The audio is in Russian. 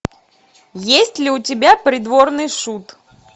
есть ли у тебя придворный шут